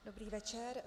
Dobrý večer.